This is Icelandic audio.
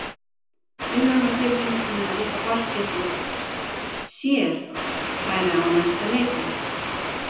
Við höfðum á tilfinningunni að litla forskeytið sér væri á næsta leiti.